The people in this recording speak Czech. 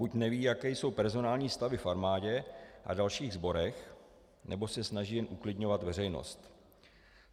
Buď neví, jaké jsou personální stavy v armádě a dalších sborech, nebo se snaží jen uklidňovat veřejnost.